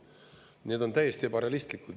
Need on täiesti ebarealistlikud.